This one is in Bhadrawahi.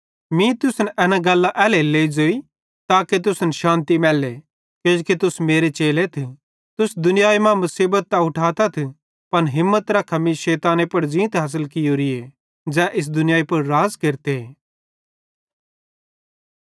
मीं तुसन एना गल्लां एल्हेरेलेइ ज़ोई ताके तुसन शान्ति मैल्ले किजो तुस मेरे चेलेथ तुस दुनियाई मां मुसीबत त उठाताथ पन हिम्मत रखा मीं शैताने पुड़ ज़ींत हासिल कियोरीए ज़ै इस दुनियाई पुड़ राज़ केरते